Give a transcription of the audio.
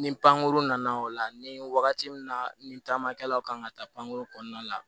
Ni pankuru nana o la ni wagati min na ni taamakɛlaw kan ka taa pankurun kɔnɔna la